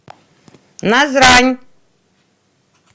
назрань